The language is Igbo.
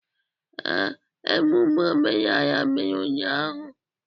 Ee, emume omenala mere ụnyahụ.